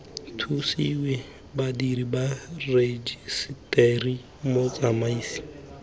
thusiwe badiri ba rejiseteri motsamaisi